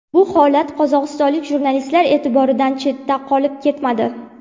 Bu holat qozog‘istonlik jurnalistlar e’tiboridan chetda qolib ketmadi.